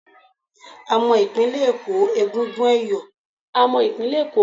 A mọ ìpínlẹ̀ Èkó mọ́ egungun ẹ̀yọ̀